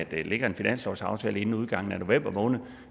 der ikke ligger en finanslovsaftale inden udgangen af november måned